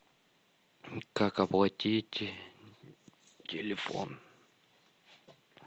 как оплатить телефон